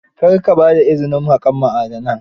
Kar ka ba da izinin haƙar ma'adanan